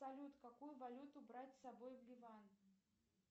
салют какую валюту брать с собой в ливан